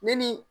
Ne ni